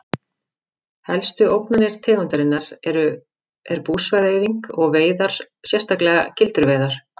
Helstu ógnanir tegundarinnar er búsvæða-eyðing og veiðar sérstaklega gildruveiðar.